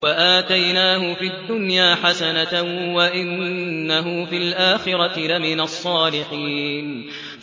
وَآتَيْنَاهُ فِي الدُّنْيَا حَسَنَةً ۖ وَإِنَّهُ فِي الْآخِرَةِ لَمِنَ الصَّالِحِينَ